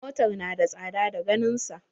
Motar na da tsada da ganin sa.